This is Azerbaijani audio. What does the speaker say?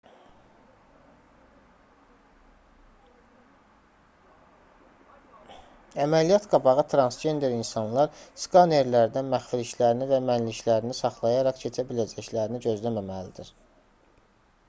əməliyyat-qabağı transgender insanlar skanerlərdən məxfiliklərini və mənliklərini saxlayaraq keçə biləcəklərini gözləməməlidir